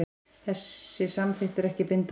Þessi samþykkt er ekki bindandi